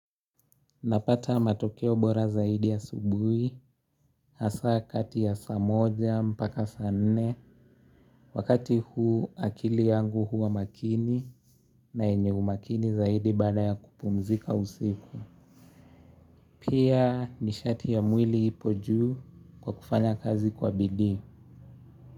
Napata matokeo bora zaidi asubuhi, hasa kati ya saa moja mpaka sa nne. Wakati huu akili yangu huwa makini na yenye umakini zaidi baada ya kupumzika usiku. Pia nishati ya mwili ipo juu kwa kufanya kazi kwa bidii.